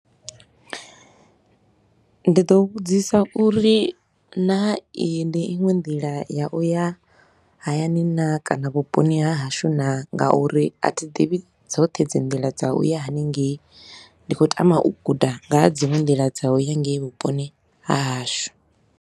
Ndi ḓo vhudzisa uri naa iyi ndi iṅwe nḓila ya u ya hayani naa kana vhuponi ha hashu naa nga uri a thi ḓivhi dzoṱhe dzi nḓila dza u ya hanengei. Ndi khou tama u guda nga ha dziṅwe nḓila dza u ya ngeyi vhuponi ha hashu.